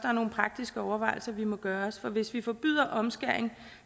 er nogle praktiske overvejelser vi må gøre os for hvis vi forbyder omskæring